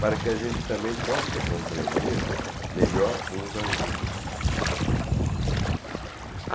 para que a gente também possa compreender melhor uns aos outros.